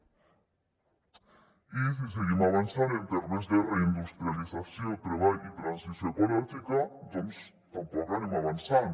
i si seguim avançant en termes de reindustrialització treball i transició ecològica doncs tampoc anem avançant